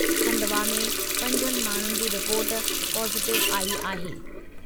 खंडवा में पंजनि माण्हुनि जी रिपोर्ट पॉजिटिव आई आहे।